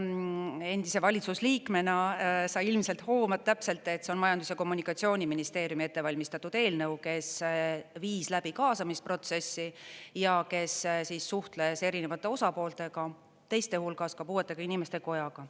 Endise valitsusliikmena sa ilmselt hoomad täpselt, see on Majandus- ja Kommunikatsiooniministeeriumi ettevalmistatud eelnõu, kes viis läbi kaasamisprotsessi ja kes suhtles erinevate osapooltega, teiste hulgas ka puuetega inimeste kojaga.